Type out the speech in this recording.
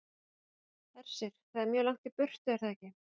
Hersir: Það er mjög langt í burtu, er það ekki?